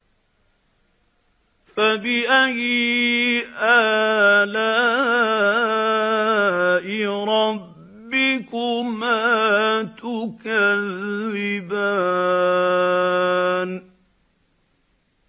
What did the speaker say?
فَبِأَيِّ آلَاءِ رَبِّكُمَا تُكَذِّبَانِ